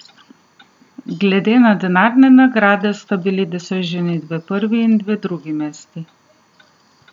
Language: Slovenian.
Glede na denarne nagrade sta bili doseženi dve prvi in dve drugi mesti.